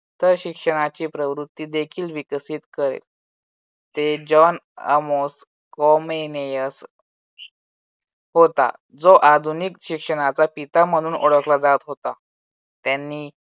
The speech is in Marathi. तर शिक्षणाची प्रवृत्ती देखील विकसित करेल. जॉन अमोस कॉमेनियस होता जो आधुनिक शिक्षणाचा पिता म्हणून ओळखला जात होता. त्यांनी